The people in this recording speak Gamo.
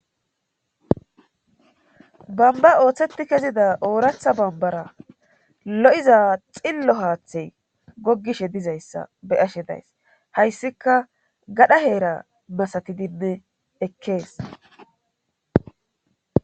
bamba ooththetti kezida ooratha bambara lo7iza xillo haathey goggishe dizayssa be ashe days hayssika gadha heera masatidinne ekkees